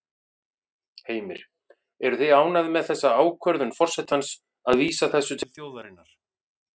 Heimir: Eruð þið ánægð með þessa ákvörðun forsetans að vísa þessu til þjóðarinnar?